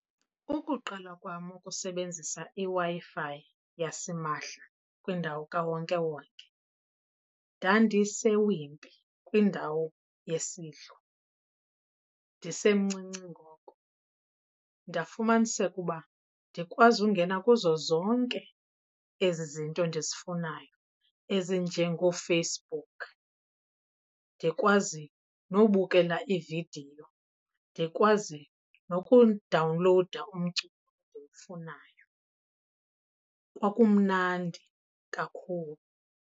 Ukuqala kwam ukusebenzisa iWi-Fi yasimahla kwindawo kawonkewonke ndandiseWimpy, kwindawo yesidlo, ndisemncinci ngoko. Ndafumaniseka uba ndikwazi ungena kuzo zonke ezi zinto ndizifunayo ezinjengooFacebook, ndikwazi nokubukela iividiyo, ndikwazi nokudawunlowuda umculo endiwufunayo. Kwakumnandi kakhulu.